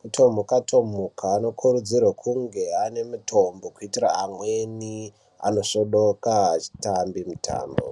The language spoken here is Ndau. kutomhuka-tomhuka. Anokurudzirwe kunge aine mutombo kuitire amweni anosvodoka achitambe mutambo.